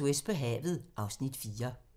02:40: SOS på havet (Afs. 4)